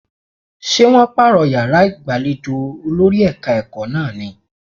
Ṣé wọ́n pààrọ̀ yàrá ìgbàlejò olórí ẹ̀ka-ẹ̀kọ́ náà ní?